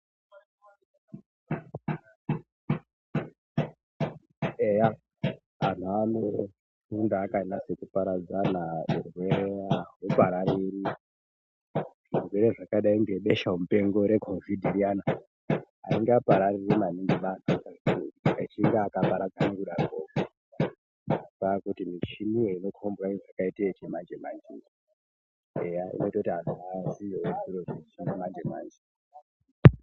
Eyaa antu anofunda akanyatsoparadzana hurwere ahuparariri. Zvirwere zvakadai ngebesha mupengo reCOVID riyana aringa parariri maningi echinge akaparadzana kudarokwo. Kwakuti michiniyo inokhombwa yakaita yechimanje manje eyaa inoita kuti antu aziyewo zviro zvechimanje manje.